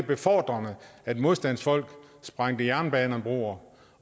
befordrende at modstandsfolk sprængte jernbanebroer